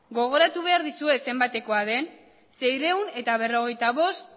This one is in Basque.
gogoratu behar dizuet zenbatekoa den seiehun eta berrogeita bost